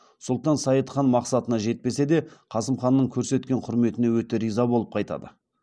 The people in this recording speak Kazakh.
сұлтан сайд хан мақсатына жетпесе де қасым ханның көрсеткен құрметіне өте риза боп қайтады